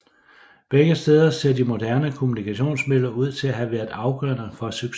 Begge steder ser de moderne kommunikationsmidler ud til at have været afgørende for succesen